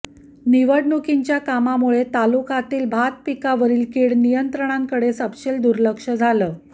निवडणुकींच्या कामामुळे तालुक्यातील भातपिकावरील किड नियंत्रणाकडे सपशेल दूर्लक्ष झालं